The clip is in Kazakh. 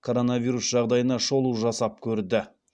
коронавирус жағдайына шолу жасап көрді